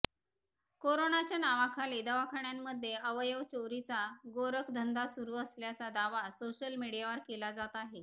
कोरोनाच्या नावाखाली दवाखान्यांमध्ये अवयव चोरीचा गोरखधंदा सुरू असल्याचा दावा सोशल मीडियावर केला जात आहे